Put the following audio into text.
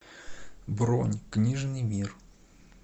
бронь книжный мир